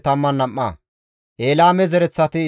Adonqaame zereththati 666,